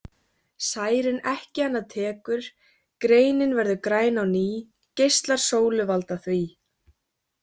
Særinn ekki hana tekur Greinin verður græn á ný geislar sólu valda því.